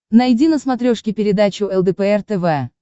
найди на смотрешке передачу лдпр тв